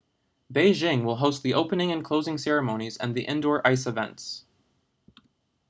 beijing will host the opening and closing ceremonies and the indoor ice events